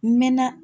N mɛɛnna